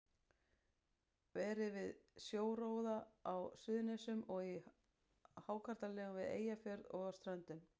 Verið við sjóróðra á Suðurnesjum og í hákarlalegum við Eyjafjörð og á Ströndum.